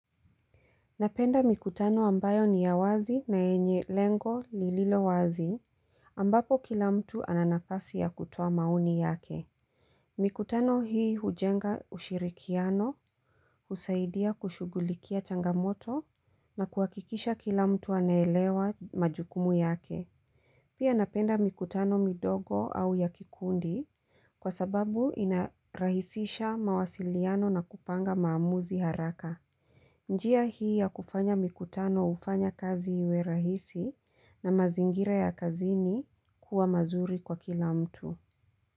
Napenda mikutano ambayo ni ya wazi na yenye lengo lililo wazi ambapo kila mtu ananafasi ya kutuoa maoni yake. Mikutano hii hujenga ushirikiano, husaidia kushughulikia changamoto na kuhakikisha kila mtu anaelewa majukumu yake. Pia napenda mikutano midogo au yakikundi kwa sababu inarahisisha mawasiliano na kupanga maamuzi haraka. Njia hii ya kufanya mikutano hufanya kazi iwe rahisi na mazingira ya kazini kuwa mazuri kwa kila mtu.